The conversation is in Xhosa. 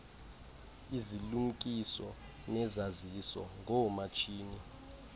izilumkiso nezaziso ngoomatshini